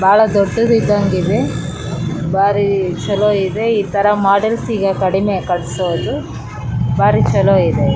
ಬಾಳ ದೊಡದು ಇದ್ದಂಗೆ ಇದೆ ಬಾರಿ ಚಲೋ ಇದೆ ಈ ತರ ಮಾಡಲ್ಸ್ ಈಗ ಕಡಿಮೆ ಕಟ್ಸೋದು ಬಾರಿ ಚಲೋ ಇದೆ.